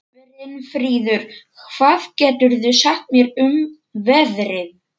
Brynfríður, hvað geturðu sagt mér um veðrið?